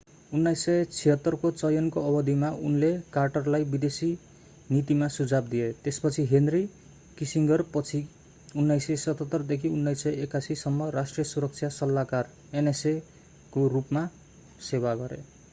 1976 को चयनको अवधिमा उनले कार्टरलाई विदेशी नीतिमा सुझाव दिए त्यसपछि हेनरी किसिङ्गरपछि 1977 देखि 1981 सम्म राष्ट्रिय सुरक्षा सल्लाहकार nsa को रूपमा सेवा गरे।